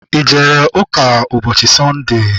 I jere ụka ụbọchị Sọnde?